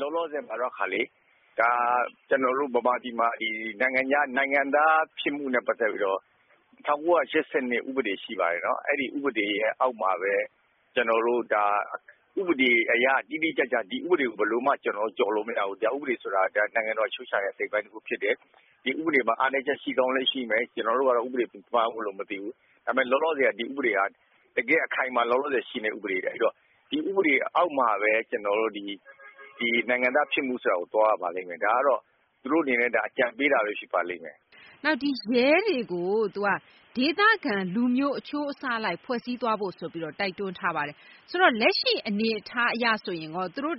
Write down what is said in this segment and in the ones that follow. လောလောဆယ်မှာတော့ ကျနော်တို့ မြန်မာပြည်မှာ နိုင်ငံသားဖြစ်မှုနဲ့ ပတ်သက်ပြီးတော့ ၁၉၈၂ ဥပဒေရှိပါတယ်။ ဥပဒေအောက်မှာပဲ ဒီဥပဒေ တိတိကျကျ ကျနော်တို့ ဘာမှ ကျော်လို့မရဘူး ၊ တရားဥပဒေဆိုတာ နိုင်ငံတော်အချုပ်အခြာရဲ့ အစိတ်အပိုင်းတခုဖြစ်တယ်။ ဒီဥပဒေမှာ အားနည်းချက်ရှိကောင်းရှာမယ်၊ ကျနော်တို့ကတော့ ဥပဒေသမားမဟုတ်လို့တော့ မသိဘူး။ ဒါပေမယ့် လောလောဆယ်က ဒီဥပဒေက အခိုင်အမာရှိနေတဲ့ ဥပဒေပဲ။ ဥပဒေအောက်မှာပဲ ကျနော်တို့ နိုင်ငံသားဖြစ်မှုဆိုတာကို သွားရပါလိမ့်မယ် ဒါကတော့ သူတို့အနေနဲ့ အကြံပေးတာပဲ ဖြစ်ပါလိမ့်မယ်။ ရဲတွေကို ဒေသခံလူမျိုးအချိုးအဆ အလိုက်ဖွဲ့စည်းသွားဖို့ ဆိုပြီးတော့ တိုက်တွန်းထားပါတယ် ဆိုတော့ လက်ရှိအနေအထားအရ သူတို့အ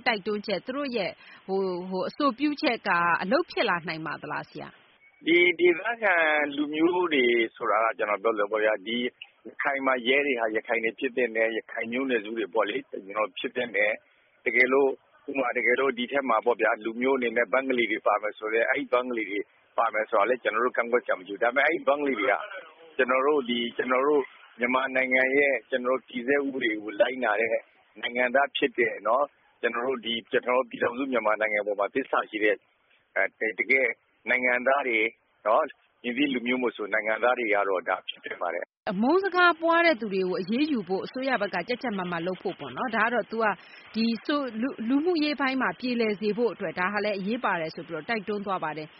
ဆိုပြုချက်က အလုပ်ဖြစ်လာနိုင်ပါသလားဆရာ။ ဒေသခံလူမျိုးဆိုတာက ကျနော်တို့ပြောသလို ရခိုင်မှာ ရဲတွေက ရခိုင်ဖြစ်သင့်တယ် မျိုးနွယ်စုတွေဖြစ်သင့်တယ်။ တကယ်လို့ ဒီအထဲမှာ လူမျိုးအနေနဲ့ ဘင်္ဂလီတွေပါမယ်ဆိုရင်လည်း ကျနော်တို့ ကန့်ကွက်စရာမရှိဘူး။ ဒါပေမယ့် ဘင်္ဂလီတွေက ကျနော်တို့ မြန်မာနိုင်ငံရဲ့ တည်ဆဲဥပဒေကို လိုက်နာတဲ့ နိုင်ငံသားဖြစ်တဲ့ ကျနော်တို့ ပြည်ထောင်စုမြန်မာနိုင်ငံအပေါ်မှာ သစ္စာရှိတဲ့ တကယ့်နိုင်ငံသားတွေ မည်သည့်လူမျိုးမဆို နိုင်ငံသားတွေကတော့ ဖြစ်သင့်ပါတယ်။ အမုန်းစကားပွားတဲ့သူတွေကို အရေးယူဖို့ အစိုးရဘက်က ကျပ်ကျပ်မတ်မတ်လုပ်ဖို့၊ လူမှုရေးပိုင်းမှာ ပြေလည်စေဖို့အတွက်အရေးပါတယ်ဆိုပြီးတော့ တိုက်တွန်းသွားပါတယ်။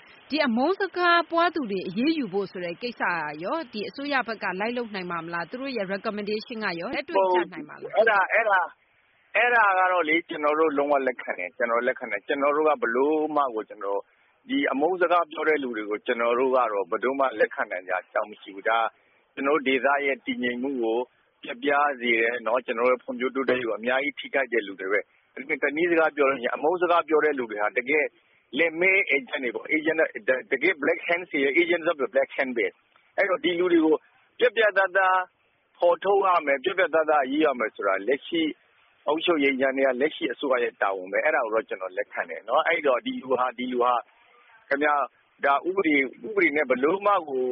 အမုန်းစကားပွားတဲ့သူတွေကို အရေးယူဖို့ဆိုတဲ့ ကိစ္စကရော အစိုးရဘက်က လိုက်လုပ်နိုင်ပါ့မလား၊ သူတို့ Recommendation က လက်တွေ့ကျနိုင်ပါသလား။ အဲဒါက ကျနော်တို့ လုံးဝလက်ခံတယ်။ ကျနော်တို့ကတော့ အမုန်းစကားပွားတဲ့သူတွေကို လက်ခံနိုင်စရာအကြောင်းမရှိဘူး။ ဒါဒေသရဲ့ တည်ငြိမ်မှုကို ပျက်ပြားစေတယ် ၊ ကျနော်တို့ ဖွံ့ဖြိုးတိုးတက်ရေးကို အများကြီးထိခိုက်တယ်လို့ မြင်တယ်။ တနည်းပြောလို့ရှိရင် အမုန်းစကားပွားတဲ့သူတွေကို Black Hands တွေရဲ့ အေးဂျင့်လုပ်တာပဲ ။ ဒီလူတွေကို ပြတ်ပြတ်သားသားဖော်ထုတ်အရေးယူရမယ်ဆိုတာ လက်ရှိ အစိုးရတာဝန်ပဲ အဲဒါကိုတော့ ကျနော် လက်ခံတယ်။ ဒီလူတွေဟာ ဥပဒေနဲ့ ဘယ်လိုမှကို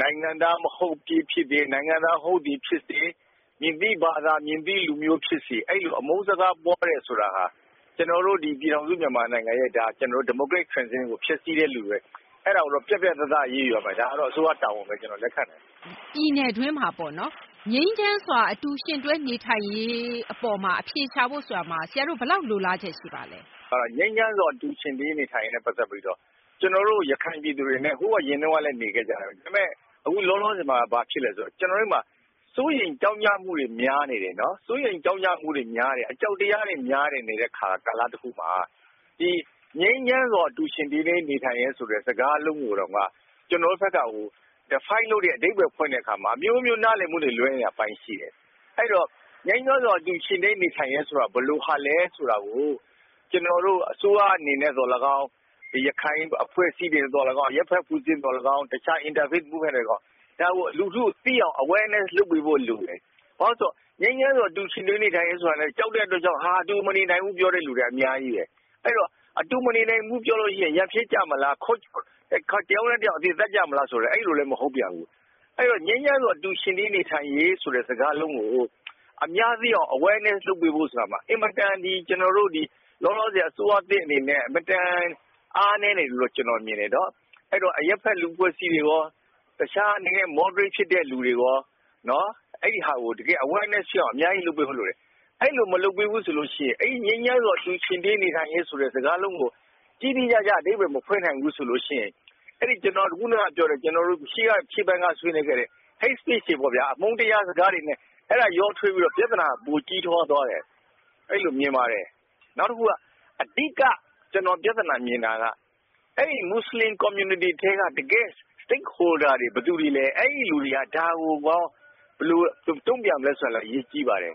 နိုင်ငံသားဟုတ်သည်ဖြစ်စေ၊ မဟုတ်သည်ဖြစ်စေ ၊ မည်သည့်ဘာသာ လူမျိုးဖြစ်စေ အဲလို အမုန်းစကားပွားတယ်ဆိုတာဟာ ကျနော်တို့ မြန်မာနိုင်ငံရဲ့ Democratic transition ကို ဖျက်ဆီး လူပဲ။ ပြတ်ပြတ်သားသားအရေးယူရမယ် ဒါကိုတော့ အစိုးရတာဝန်ပဲ ကျနော်လက်ခံတယ်။ ပြည်နည်အတွင်းမှာ ငြိမ်းချမ်းစွာအတူယှဉ်တွဲနေထိုင်ရေးအပေါ်မှာ အဖြေရှာဖို့အပေါ်မှာ ဆရာတို့ ဘယ်လောက်လိုလားချက်ရှိပါသလဲ။ ငြိမ်းချမ်းစွာအတူယှဉ်တွဲနေထိုင်ရေးနဲ့ ပတ်သက်ပြီးတော့ ကျနော်တို့ ရခိုင်ပြည်သူတွေနဲ့ ဟိုအရင်တုန်းကလည်း နေခဲ့ကြတယ်။ ဒါပေမယ့် လောလောဆယ်ဘာဖြစ်သလဲဆိုတော့ စိုးရိမ်မှုတွေ များနေတယ် အကြောက်တရားတွေများနေတဲ့ကာလတခုမှာငြိမ်းချမ်းစွာအတူယှဉ်တွဲနေထိုင်ရေးဆိုတဲ့ စကားလုံးကိုတော့ ကျနော်တို့က အဓိပ္ပါယ်ဖွင့်တဲ့အခါမှာ အမျိုးမျိုးနားလည်မှု လွဲနေတဲ့အပိုင်းရှိတယ်။ အဲဒီတော့ ငြိမ်းချမ်းစွာအတူယှဉ်တွဲနေထိုင်ရေးဆိုတာ ဘယ်လိုဟာလဲဆိုတာကို အစိုးရအနေနဲ့သော်လည်းကောင်း၊ ရခိုင်အဖွဲ့အစည်းတွေနဲ့ သော်လည်းကောင်း အရပ်ဘက် တခြား Interfaith တွေကသော်လည်းကောင်း ဒါကို လူထုသိအောင် awarenessလုပ်ပေးဖို့လိုတယ်။ ဘာဖြစ်လို့လဲဆိုတော့ ငြိမ်းချမ်းစွာအတူယှဉ်တွဲနေထိုင်ရေးဆိုတာကို ကြောက်တဲ့အတွက်ကြောင့် အတူတူမနေနိုင်ဘူးလို့ ပြောတဲ့လူတွေအများကြီးပဲ။ အတူမနေနိုင်ဘူးပြောရင် ရန်ဖြစ်ကြမလား ၊ တယောက်နဲ့ တယောက် အသေသတ်ကြမလားဆိုတာလည်းမဟုတ်ပြန်ဘူး။ ငြိမ်းချမ်းစွာအတူယှဉ်တွဲနေထိုင်ရေးဆိုတဲ့ စကားလုံးကို လူထုသိအောင် awarenessလုပ်ပေးဖို့ဆိုတာမှာ ကျနော်တို့ လောလောဆယ် အစိုးရအနေနဲ့ အင်မတန် အားနည်းနေတယ်လို့ မြင်တယ် ။ ဒါကြောင့် အရပ်ဘက်အဖွဲ့အစည်းတွေရော ၊ တခြား Moderate ဖြစ်တဲ့လူတွေရော ဒီဟာကို awarenessလုပ်ပေးဖို့လိုတယ်။ အဲလိုမလုပ်ပေးဘူးဆိုရင် ငြိမ်းချမ်းစွာအတူယှဉ်တွဲနေထိုင်ရေးဆိုတဲ့ စကားလုံးကို တိတိကျကျ အဓိပါ္ပယ်မဖွင့်နိုင်ဘူးဆိုရင် ကျနော်တို့ ရှေ့ပိုင်းကဆွေးနွေးခဲ့တဲ့ Hate Speech တွေပေါ့ အမုန်းစကားပြောတာတွေနဲ့ ရောထွေးပြီးတော့ ပြဿနာ ပိုကြီးသွားတယ် အဲလိုမြင်ပါတယ်။ နောက်တခု အဓိက ကျနော်ပြဿနာ မြင်တာက မွတ်စလင်အသိုင်းအဝိုင်းက Stakeholders တွေက ဘယ်သူတွေလည်း ဒါကိုရော ဘယ်လို တုံ့ပြန်မလဲဆိုတာ အရေးကြီးပါတယ်